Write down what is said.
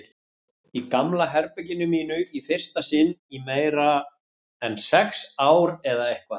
Í gamla herberginu mínu, í fyrsta sinn í meira en sex ár eða eitthvað.